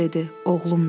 Oğlumdur.